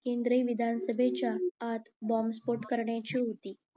केंद्रीय विधानसभेच्या आत बॉम्बस्फोट करण्याची होती